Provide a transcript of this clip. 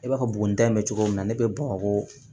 I b'a fɔ buguni da in bɛ cogo min na ne bɛ bamako